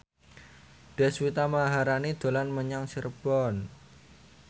Deswita Maharani dolan menyang Cirebon